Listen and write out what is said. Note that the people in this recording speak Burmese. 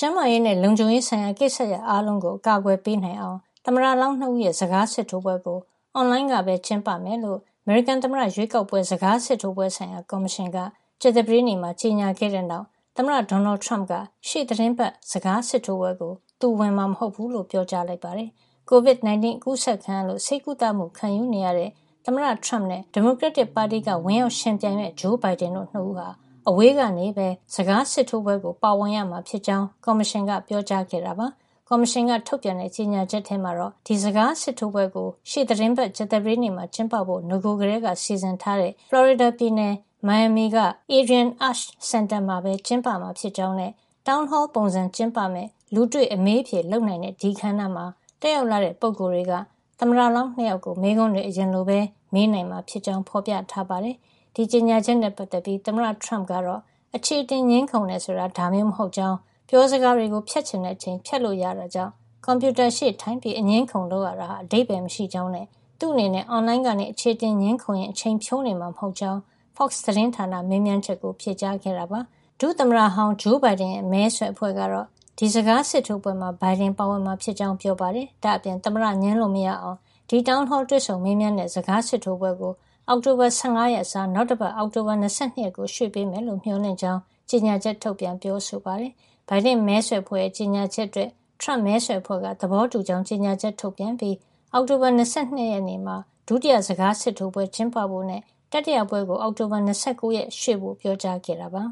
ျန်းမာရေးနဲ့ လုံခြုံရေးဆိုင်ရာ ကိစ္စရပ်အားလုံးကို အကာကွယ်ပေးနိုင်အောင် သမ္မတလောင်း ၂ ဦးရဲ့ စကာစစ်ထိုးပွဲကို အွန်လိုင်းကပဲ ကျင်းပမယ်လို့ အမေရိကန် သမ္မတရွေးကောက်ပွဲ စကားစစ်ထိုးပွဲဆိုင်ရာ ကော်မရှင်က ကြာသပတေးနေ့မှာ ကြေညာခဲ့တဲ့ နောက် သမ္မတ ဒေါ်နယ်ထရမ့်က ရှေ့သီတင်းပတ် စကားစစ်ထိုးပွဲကို သူဝင်မှာ မဟုတ်ဖူးလို့ ပြောကြားလိုက်ပါတယ်။ COVID-19 အကူးစက်ခံရလို့ ဆေးကုသမှုခံယူနေရတဲ့ သမ္မတထရမ့်နဲ့ ဒီမိုကရက်တစ်ပါတီက ဝင်ရောက်ယှဉ်ပြိုင်မယ့် ဂျိုးဘိုင်ဒင်တို့ ၂ ဦးဟာ အဝေးကနေပဲ စကားစစ်ထိုးပွဲကို ပါဝင်ရမှာ ဖြစ်ကြောင်း ကော်မရှင်က ပြောကြားခဲ့တာပါ။ ကော်မရှင်က ထုတ်ပြန်တဲ့ ကြေညာချက်ထဲမှာတော့ ဒီစကားစစ်ထိုးပွဲကို ရှေ့သီတင်းပတ် ကြာသပတေးနေ့မှာ ကျင်းပဖို့ နဂိုကတည်းက စီစဉ်ထားတဲ့ ဖလော်ရီဒါပြည်နယ် မီယာမီက Adrienne Arsht စင်တာမှာပဲ ကျင်းပမှာဖြစ်ကြောင်း နဲ့ Town hall ပုံစံ ကျင်းပမယ့် လူတွေ့အမေးအဖြေလုပ်နိုင်တဲ့ ဒီအခမ်းအနား မှာ တက်ရောက်လာတဲ့ ပုဂ္ဂိုလ်တွေက သမ္မတလောင်း၂ ယောက်ကို မေးခွန်းတွေ အရင်လိုပဲ မေးနိုင်မှာ ဖြစ်ကြောင်း ဖေါ်ပြထားပါတယ်။ ဒီလို ကြေညာချက်နဲ့ ပတ်သက်ပြီး သမ္မတထရမ့်ကတော့ အခြေအတင်ငြင်းခုံတယ် ဆိုတာ ဒါမျိုး မဟုတ်ကြောင်း၊ ပြောစကားတွေကို ဖြတ်ချင်တဲ့ အချိန် ဖြတ်လို့ ရတာကြောင့် ကွန်ပြုတာရှေ့ထိုင်ပြီး အငြင်းအခုံလုပ်တာဟာ အဓိပ္ပါယ်မရှိကြောင်းနဲ့ သူ့အနေနဲ့ အွန်လိုင်းကနေ အခြေအတင်ငြင်းခုံရင်း အချိန်ဖြုန်းနေမှာ မဟုတ်ကြောင်း Fox သတင်းဌာနရဲ့ မေးမြန်းချက်ကို ဖြေကြားခဲ့တာပါ။ ဒုသမ္မတဟောင်းဂျိုးဘိုင်ဒင်ရဲ့ မဲဆွယ်အဖွဲ့ကတော့ ဒီ စကားစစ်ထိုးပွဲမှာ ဘိုင်ဒင် ပါဝင် မှာ ဖြစ်ကြောင်း ပြောပါတယ်။ ဒါ့အပြင် သမ္မတ ငြင်းလို့ မရအောင် ဒီ Town Hall တွေ့ဆုံမေးမြန်း တဲ့ စကားစစ်ထိုးပွဲကို အောက်တိုဘာ ၁၅ ရက် အစား နောက်တပတ် အောက်တိုဘာ ၂၂ ရက်ကို ကော်မရှင်က ရွှေ့ပေးမယ်လို့ မေ ျှာ်လင့်ကြောင်း ကြေညာချက် ထုတ်ပြန်ပြောဆိုခဲ့ပါတယ်။ ဘိုင်ဒင့်မဲဆွယ်အဖွဲ့ ကြေညာချက်အတွက် ထရမ့်မဲဆွယ် အဖွဲ့က သဘောတူကြောင်း ကြေညာချက် ထုတ်ပြန်ခဲ့ပြီး အောက်တိုဘာ ၂၂ ရက်နေ့မှာ ဒုတိယ စကားစစ်ထိုးပွဲကျင်းပဖို့နဲ့ တတိယပွဲကို အောက်တိုဘာ ၂၉ ရက်နေ့ ကို ရွှေ့ဖို့ ပြောကြားခဲ့ပါ